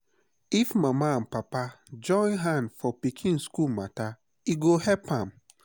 if papa and mama join hand for pikin school matter e go help am.